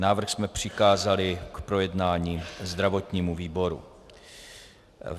Návrh jsme přikázali k projednání zdravotnímu výboru.